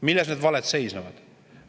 Milles need valed seisnevad?